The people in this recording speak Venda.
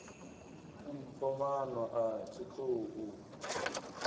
mpho maano a tshiṱuhu u